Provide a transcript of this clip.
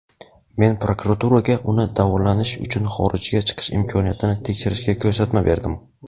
men prokuraturaga uni davolanish uchun xorijga chiqish imkoniyatini tekshirishga ko‘rsatma berdim.